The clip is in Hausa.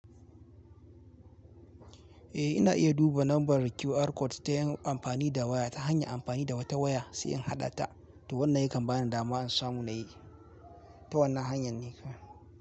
Eh ina iya duba lambar QR code ta yin amfani da waya ta hanya amfani da wata waya sai in haɗa ta da wannan yakan bani dama an samu na yi ta wannan hanyar ne ka.